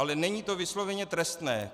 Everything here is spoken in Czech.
Ale není to vysloveně trestné.